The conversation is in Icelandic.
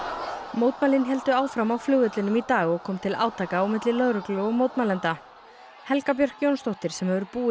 mótmælin héldu áfram á flugvellinum í dag og kom til átaka á milli lögreglu og mótmælenda Helga Björk Jónsdóttir sem hefur búið